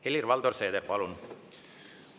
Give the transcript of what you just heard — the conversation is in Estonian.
Helir-Valdor Seeder, palun!